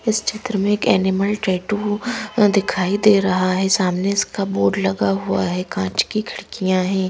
इस चित्र में एक एनिमल टैटू दिखाई दे रहा है सामने इसका बोर्ड लगा हुआ है कांच की खिड़कियाँ हैं।